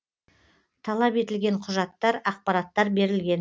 талап етілген құжаттар ақпараттар берілген